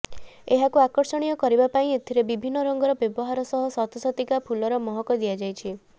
ଏହାକୁ ଆକର୍ଷଣୀୟ କରିବା ପାଇଁ ଏଥିରେ ବିଭିନ୍ନ ରଙ୍ଗର ବ୍ୟବହାର ସହ ସତସତିକା ଫୁଲର ମହକ ଦିଆଯାଇଛି